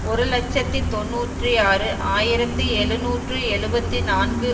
ஒரு இலட்சத்தி தொன்னூற்றி ஆறு ஆயிரத்தி எழுநூற்று எழுபத்து நான்கு